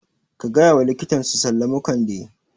Ka gayawa likitan su sallamu Kande